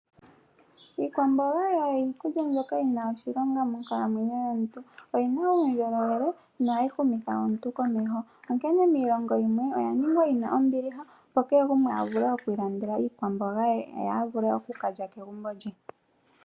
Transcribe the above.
Iikwamboga oyo iikulya mbyoka yina oshilonga monkalamwenyo yomuntu, oyina uundjolowele nohayi humitha omuntu komeho, onkene miilongo yimwe oya ningwa yina ombiliha opo keegumwe a vule okwiilandela iikwamboga ye, ye a vule oku kala kegumbo lye.